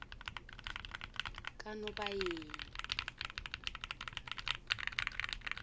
kanobayeni